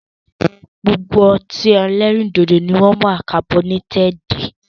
Gbogbo ọtí ẹlẹ́rìndòdò ni wọn wá kabọnétẹ́ẹ́di